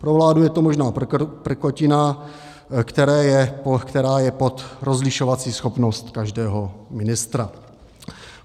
Pro vládu je to možná prkotina, která je pod rozlišovací schopnost každého ministra.